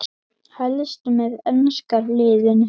Helst með enska liðinu.